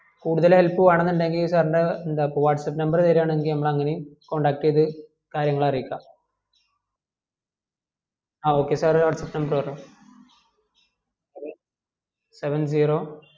കൂടുതൽ help വേണമ്ന് ഇണ്ടെങ്കിൽ sir ൻ്റെ എന്താകുവാ whatsapp number തെരുവാണെങ്കിൽ നമ്മള് അങ്ങനെയു contact ചെയ്ത് കാര്യങ്ങള് അറിയിക്കാം ആ okay sir whatsapp number പറ seven seven zero